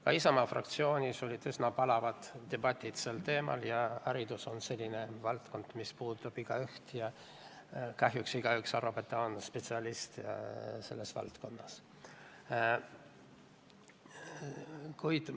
Ka Isamaa fraktsioonis olid üsna palavad debatid sel teemal ja haridus on selline valdkond, mis puudutab igaüht ja kahjuks igaüks arvab, et ta on selles valdkonnas spetsialist.